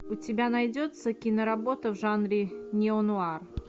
у тебя найдется киноработа в жанре неонуар